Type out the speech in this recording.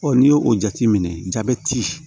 n'i y'o jateminɛ